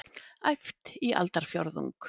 Æft í aldarfjórðung